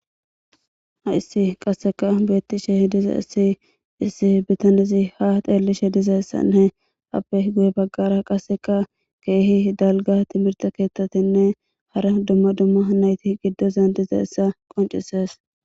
Haysi qaseka betishe dizays issi bitanezi ha xelishe dizaysanne ape guye bagara qaseka kehi daliga timirte kethatine hara duma duma nayti gibezan dizaysa qonc'ises.